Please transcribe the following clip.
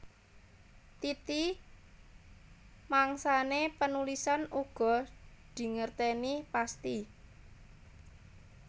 Titi mangsané panulisan uga ora dingertèni pasthi